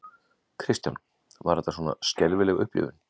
Kristján: Var þetta svona skelfileg upplifun?